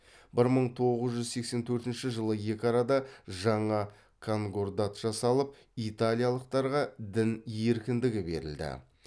бір мың тоғыз жүз сексен төртінші жылы екі арада жаңа конкордат жасалып италиялықтарға дін еркіндігі берілді